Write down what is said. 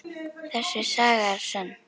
Þessi saga er sönn.